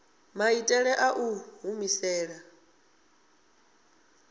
maitele a u i humisela